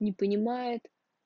не понимает